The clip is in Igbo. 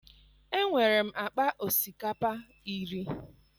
enwerem akpa osikapa iri